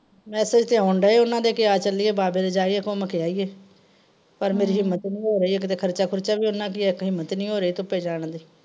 Message ਤੇ ਆਉਣ ਡੇਇ ਆ ਉਹਨਾਂ ਦੇ ਕਿ ਆ ਚੱਲੀਏ ਬਾਬੇ ਦੇ ਜਾਈਏ ਘੁੱਮ ਕੇ ਆਈਏ ਪਰ ਮੇਰੀ ਹਿੰਮਤ ਨੀ ਹੋ ਰਹੀ ਇੱਕ ਤੇ ਖਰਚਾ ਖੁਰਚਾ ਵੀ ਉਹਨਾਂ ਕ ਹੀ ਹੈ ਇੱਕ ਹਿੰਮਤ ਨੀ ਹੋ ਰਹੀ ਧੁੱਪੇ ਜਾਣ ਦੀ।